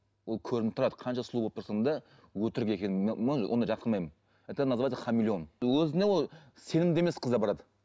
ол көрініп тұрады қанша сұлу болып тұрсаң да өтірік екенін ондайды жақтырмаймын это называется хамелеон өзіне ол сенімді емес қыздар барады